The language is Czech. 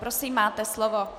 Prosím, máte slovo.